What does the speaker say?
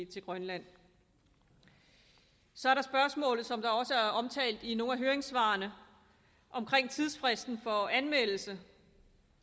til grønland så er der spørgsmålet som også er omtalt i nogle af høringssvarene om tidsfristen for anmeldelse